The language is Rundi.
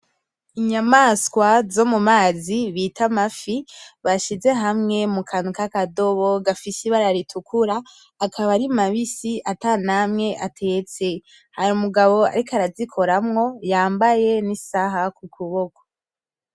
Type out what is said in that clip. Inyamswa zo mumazi bita amafi bashize hamwe mukantu kakadobo gafise ibara ritukura, akaba ari mabisi ata namwe atetse, hari umugabo ariko arazikoramwo yambaye n’isaha kukuboko.